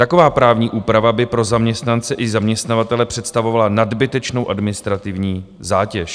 Taková právní úprava by pro zaměstnance i zaměstnavatele představovala nadbytečnou administrativní zátěž.